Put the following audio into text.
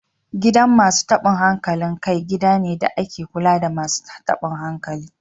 Gidan Masu tabun hankali kai gida ne da ake kula da Masu tabun hankali